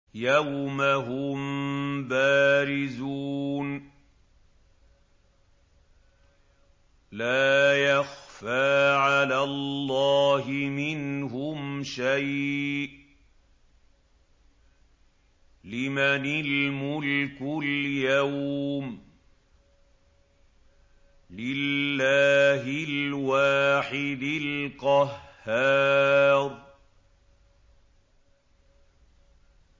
يَوْمَ هُم بَارِزُونَ ۖ لَا يَخْفَىٰ عَلَى اللَّهِ مِنْهُمْ شَيْءٌ ۚ لِّمَنِ الْمُلْكُ الْيَوْمَ ۖ لِلَّهِ الْوَاحِدِ الْقَهَّارِ